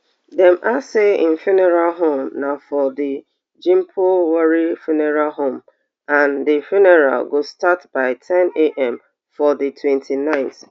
dem add say im funeral home na for di gimpo woori funeral home and di funeral go start by ten am for di twenty-nineth